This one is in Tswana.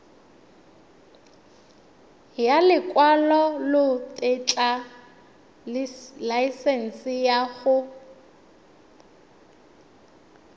ya lekwalotetla laesense ya go